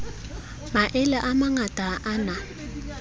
maele a mangata a na